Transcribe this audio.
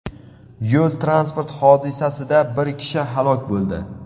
Yo‘l-transport hodisasida bir kishi halok bo‘ldi.